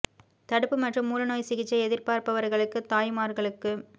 தடுப்பு மற்றும் மூல நோய் சிகிச்சை எதிர்பார்ப்பவர்களுக்கு தாய்மார்களுக்கு